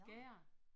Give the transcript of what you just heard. Gær